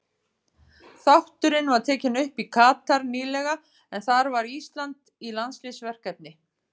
Þátturinn var tekinn upp í Katar nýlega en þar var Ísland í landsliðsverkefni.